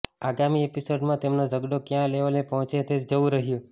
આગામી એપિસોડમાં તેમનો ઝઘડો કયા લેવલે પહોંચે છે તે જોવું રહ્યું